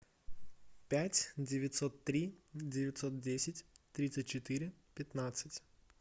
пять девятьсот три девятьсот десять тридцать четыре пятнадцать